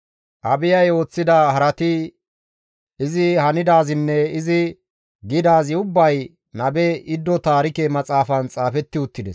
Abiyay ooththida harati, izi hanidaazinne izi gidaazi ubbay Nabe Iddo Taarike Maxaafan xaafetti uttides.